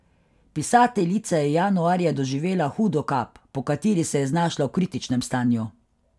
Pisateljica je januarja doživela hudo kap, po kateri se je znašla v kritičnem stanju.